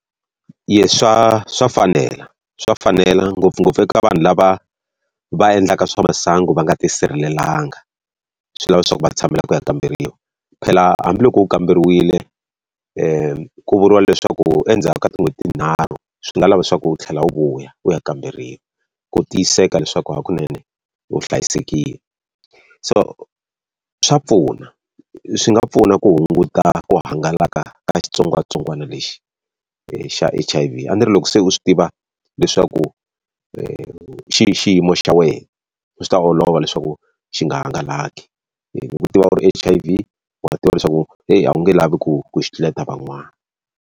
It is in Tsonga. swa swa fanela swa fanela ngopfungopfu eka vanhu lava va endlaka swa masangu va nga tisirhelelanga, swi lava leswaku va tshamela ku ya kamberiwa. Phela hambiloko u kamberiwile ku vuriwa leswaku endzhaku ka tin'hweti tinharhu swi nga lava leswaku u tlhela u vuya u ya kamberiwa ku tiyisiseka leswaku hakunene u hlayisekile. So swa pfuna, swi nga pfuna ku hunguta ku hangalaka ka xitsongwatsongwana lexi xa H_I_V. A ni ri loko se u swi tiva leswaku xiyimo xa wena u swi ta olova leswaku xi nga hangalaki. Hi ku tiva ku ri H_I_V wa tiva leswaku heyi a wu nge lavi ku ku xi tluleta van'wana.